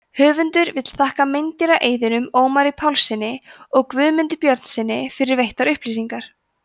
höfundur vill þakka meindýraeyðunum ómari pálssyni og guðmundi björnssyni fyrir veittar upplýsingar